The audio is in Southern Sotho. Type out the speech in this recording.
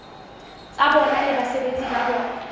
tsa bona le basebeletsi ba